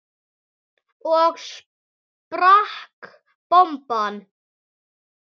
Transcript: Svo sprakk bomban.